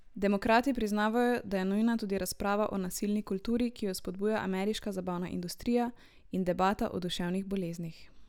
Demokrati priznavajo, da je nujna tudi razprava o nasilni kulturi, ki jo vzpodbuja ameriška zabavna industrija, in debata o duševnih boleznih.